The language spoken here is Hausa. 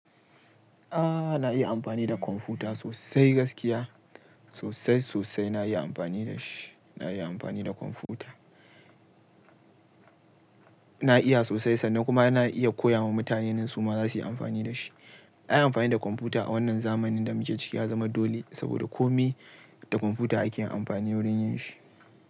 Ah na iya amfani da kwamfuta sosai gaskiya. Sosai sosai na iya amfani da shi. Na iya amfani da kwamfuta. Na iya sosai sannan kuma na iya koya ma mutane in su ma za su yi amfani da shi. Na yi amfani da kwamfuta a wannan zamanin da muke ciki ya zama dole saboda kome da kwamfuta ake amfani wurin yin shi.